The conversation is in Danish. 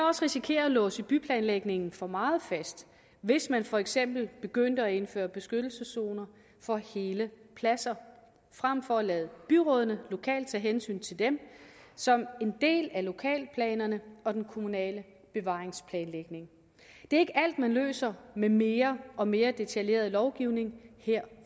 også risikere at låse byplanlægningen for meget fast hvis man for eksempel begyndte at indføre beskyttelseszoner for hele pladser frem for at lade byrådene lokalt tage hensyn til dem som en del af lokalplanerne og den kommunale bevaringsplanlægning det er ikke alt man løser med mere og mere detaljeret lovgivning her